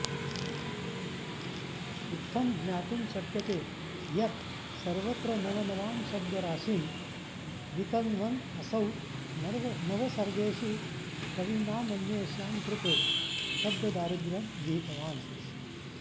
इत्थं ज्ञातुं शक्यते यत् सर्वत्र नवनवां शब्दराशिं वितन्वन् असौ नवसर्गेषु कविनामन्येषां कृते शब्ददारिद्रयं विहितवान्